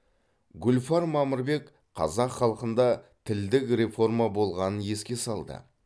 гүлфар мамырбек қазақ халқында да тілдік реформа болғанын еске салды